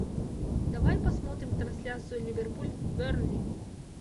давай посмотрим трансляцию ливерпуль бернли